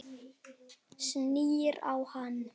Snýr á hann.